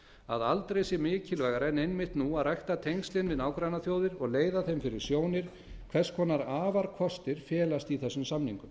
að aldrei sé mikilvægara en einmitt nú að rækta tengslin við nágrannaþjóðir og leiða þeim fyrir sjónir hvers konar afarkostir felast í þessum samningum